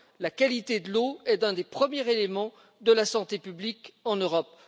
La qualité de l'eau est un des premiers éléments de la santé publique en Europe.